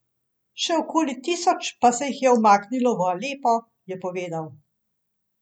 Še okoli tisoč pa se jih je umaknilo v Alepo, je povedal.